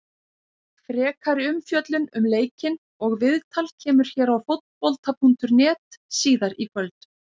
Frekari umfjöllun um leikinn og viðtal kemur hér á Fótbolta.net síðar í kvöld.